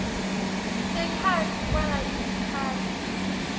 sekhatsi kwalo sikhatsi